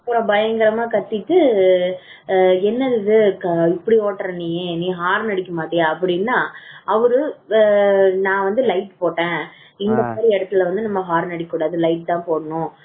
அப்புறம் பயங்கரமா கத்திட்டு என்னது இது இப்படி நீ ஹரன் அடிக்க மாட்டியா அப்படின்னா அவரு நான் வந்துட்டு light போட்டேன் இந்த மாதிரி இடத்தில வந்து ஹாரன் அடிக்கக்கூடாது light தா போடணும்